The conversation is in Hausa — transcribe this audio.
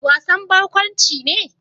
Wasan barkwanci ne?